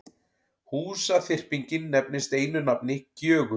Húsaþyrpingin nefnist einu nafni Gjögur.